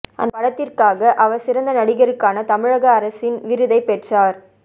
அந்த படத்திற்காக அவர் சிறந்த நடிகருக்கான தமிழக அரசின் விருதை பெற்றார்